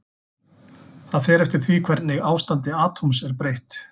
Það fer eftir því hvernig ástandi atóms er breytt.